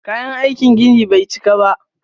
Kayan aikin ginin bai cika ba.